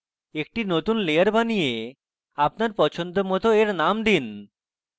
একটি নতুন layer বানিয়ে আপনার পছন্দমত এর name দিন